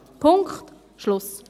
Punkt, Schluss!